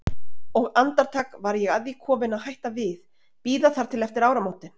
Og andartak var ég að því komin að hætta við, bíða þar til eftir áramótin.